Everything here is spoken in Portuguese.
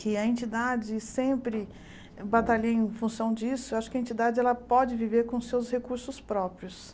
que a entidade sempre batalha em função disso, acho que a entidade pode viver com seus recursos próprios.